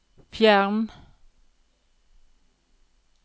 fjern